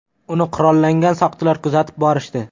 Uni qurollangan soqchilar kuzatib borishdi.